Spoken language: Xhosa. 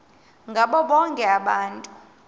ngabo bonke abantu